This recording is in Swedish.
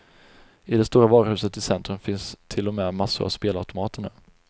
I det stora varuhuset i centrum finns till och med massor av spelautomater nu.